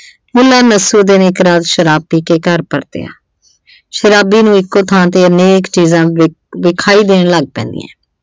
ਸ਼ਾਰਾਬ ਪੀ ਕੇ ਘਰ ਪਰਤਿਆ, ਸ਼ਾਰਾਬੀ ਨੂੰ ਇੱਕੋ ਥਾਂ ਤੇ ਅਨੇਕ ਚੀਜ਼ਾਂ ਵਿਖਾਈ ਦੇਣ ਲੱਗ ਪੈਂਦੀਆਂ।